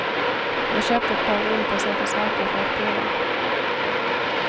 Jag köpte ett par olika sorters räkor för att prova.